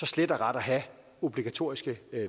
slet og ret at have obligatoriske